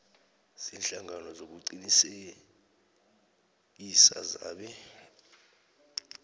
ziinhlangano zokuqinisekisa zebee